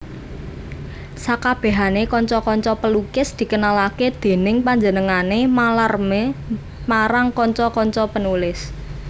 Sakabehanè kanca kanca pelukis dikenalake dèning panjenengané Mallarmé marang kanca kanca penulis